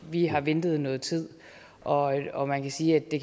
vi har ventet noget tid og og man kan sige at det